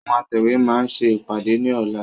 Àwọn atẹ̀wé máa ṣe ìpàdé ni ọ̀la.